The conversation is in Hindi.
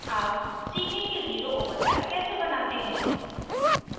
अब सीखें कि zero overlap कैसे बनाते हैं